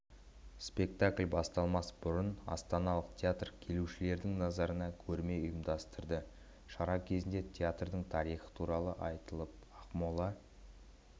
спектакль басталмас бұрын астаналық театр келушілердің назарына көрме ұйымдастырды шара кезінде театрдың тарихы туралы айтылып ақмола